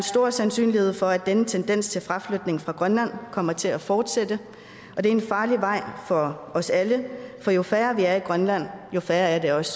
stor sandsynlighed for at denne tendens til fraflytning fra grønland kommer til at fortsætte og det er en farlig vej for os alle for jo færre vi er i grønland jo sværere er det også